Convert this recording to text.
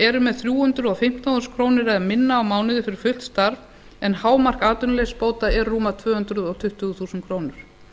eru með þrjú hundruð og fimmtán þúsund krónur eða minna á mánuði fyrir fullt starf en hámark atvinnuleysisbóta eru rúmar tvö hundruð tuttugu þúsund krónur